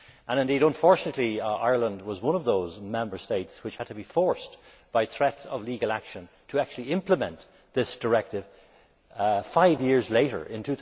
Indeed, unfortunately, Ireland was one of those Member States which had to be forced by threats of legal action to actually implement this directive, five years later, in